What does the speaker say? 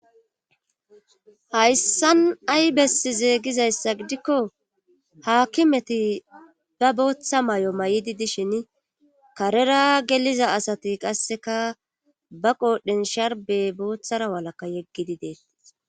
Hayssan ay bessizee gizayssa gidikko haakimeti ba booththa may7o may7idi dishin karera geliza asati qasseka ba qoodhen sharbe booththara walakka yeggidi dee.